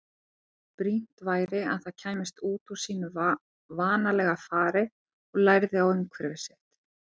Brýnt væri að það kæmist út úr sínu vanalega fari og lærði á umhverfi sitt.